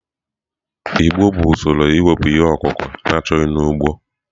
Igbo bụ usoro iwepụ ihe ọkụkụ na-achọghị n'ugbo.